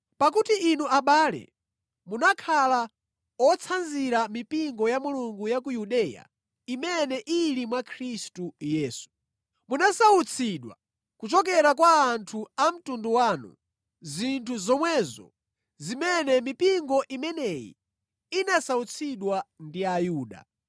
Pakuti inu abale, munakhala otsanzira mipingo ya Mulungu ya ku Yudeya, imene ili mwa Khristu Yesu. Munasautsidwa kuchokera kwa anthu a mtundu wanu, zinthu zomwezo zimene mipingo imeneyi inasautsidwa ndi Ayuda,